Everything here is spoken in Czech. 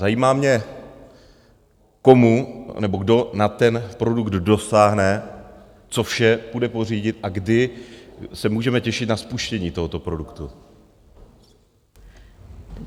Zajímá mě komu, anebo kdo na ten produkt dosáhne, co vše půjde pořídit a kdy se můžeme těšit na spuštění tohoto produktu.